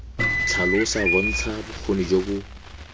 tlhalosa bontsha bokgoni jo bo